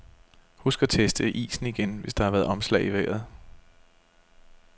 Husk at teste isen igen, hvis der har været omslag i vejret.